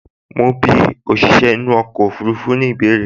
Mo ń bí òṣìṣẹ́ inú ọkọ̀ ọfurufú ní ìbéèrè